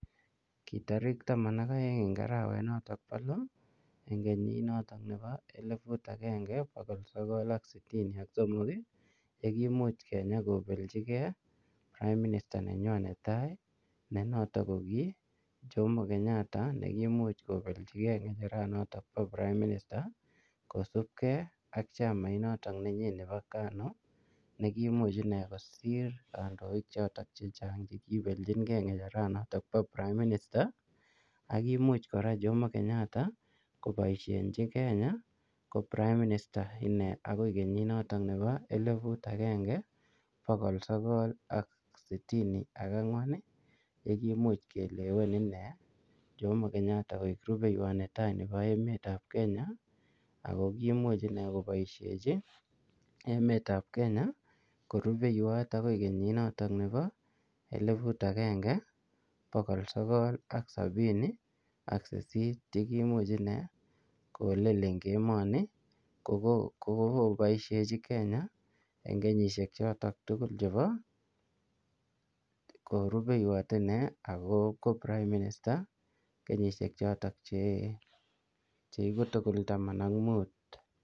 Kii tarikiit aeng en arawet notoon bo loo eng kenyiit notoon bo elibut agengee bogol sogol ak sitini ak somok ye koimuuch Kenya kobeljigei [prime minister] nenyoon netai ii ne notoon ko kiit jomo Kenyatta ko komuuch kobeljigei ngerecheret notoon bo [prime minister] kosupkei ak chamait notoon nebo [kanya alliance national party] ko komuuch inei kosiir kandoik che chaang chekiibeljinkei ngecheret notoon bo [prime minister] ak komuuch kora jomo Kenyatta kobaisheenji Kenya ko [prime minister inendet] akoib kenyiit notoon nebo elibut agengee bogol sogol ak sitini ak angween ii ye koimuuch keleween ine jomo Kenyatta koek rupeiwaat netai nebo emet ab kenya ako komuuch inei kobaisheji emet ab Kenya korupeiwaat akoib kenyiit notoon nebo elibut agenge bogol sogol ak sabini ak saisiit ye koimuuch inei ko well en emanii ko kogoon boisheji Kenya eng kenyisiek chotoon tugul chebo korupeiwaat one ako ko prime minister kenyisiek chotoon cheite taman ak muut.